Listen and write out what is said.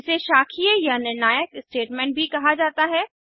इसे शाखीय या निर्णायक स्टेटमेंट भी कहा जाता है